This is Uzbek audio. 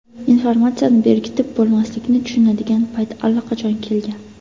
Informatsiyani berkitib bo‘lmaslikni tushunadigan payt allaqachon kelgan.